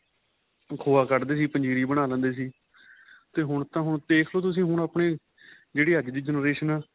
ਖੋਆ ਕੱਢਦੇ ਸੀ ਪੰਜੀਰੀ ਬਣਾ ਲੈਂਦੇ ਸੀ ਤੇ ਹੁਣ ਤਾਂ ਹੁਣ ਦੇਖਲੋ ਤੁਸੀਂ ਹੁਣ ਆਪਣੇਂ ਜਿਹੜੀ ਅੱਜ generation ਆਂ